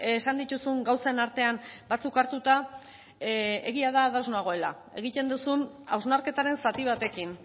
esan dituzun gauzen artean batzuk hartuta egia da ados nagoela egiten duzun hausnarketaren zati batekin